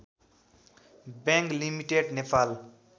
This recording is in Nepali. bank limited Nepal